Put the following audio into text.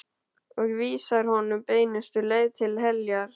Og vísar honum beinustu leið til heljar.